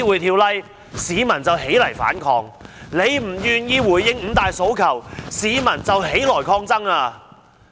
因為她不願意回應"五大訴求"，市民便起來抗爭。